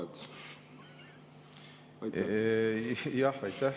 Jah, aitäh!